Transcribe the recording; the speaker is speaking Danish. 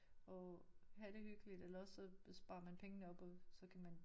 Og have det hyggeligt eller også så sparer man pengene op og så kan man